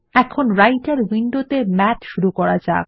এখন রাইটের উইন্ডোত়ে মাথ শুরু করা যাক